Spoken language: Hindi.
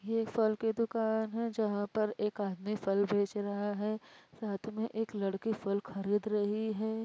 ये फल की दुकान हैं। जहाॅं पर एक आदमी फल बेच रहा है। साथ में एक लड़की फल खरीद रही है।